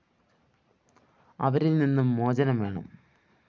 അവരില്‍ നിന്ന് മോചനം വേണം